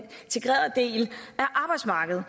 arbejdsmarkedet